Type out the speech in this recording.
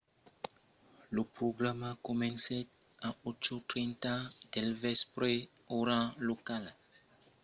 lo programa comencèt a 8:30 del vèspre ora locala 15:00 utc